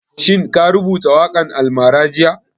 Shin ka rubuta waƙan almara jiya?